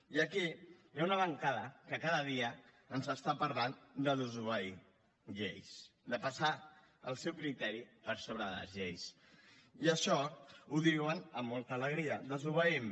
i aquí hi ha una bancada que cada dia ens parla de desobeir lleis de passar el seu criteri per sobre de les lleis i això ho diuen amb molta alegria desobeïm